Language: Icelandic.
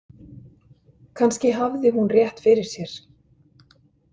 Kannski hafði hún rétt fyrir sér.